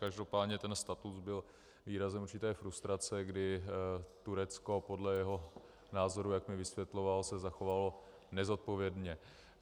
Každopádně ten statut byl výrazem určité frustrace, kdy Turecko podle jeho názoru, jak mi vysvětloval, se zachovalo nezodpovědně.